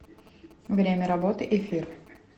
время работы эфир